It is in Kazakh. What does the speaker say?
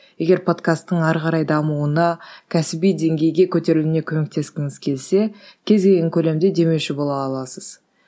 егер подкастың әрі қарай дамуына кәсіби деңгейге көтерілуіне көмектескіңіз келсе кез келген көлемде демеуші бола аласыз